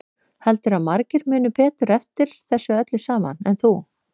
Heldurðu að margir muni betur eftir þessu öllu saman en þú?